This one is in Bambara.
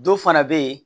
Dɔ fana bɛ yen